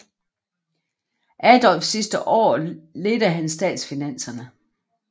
Adolfs sidste år ledte han statsfinanserne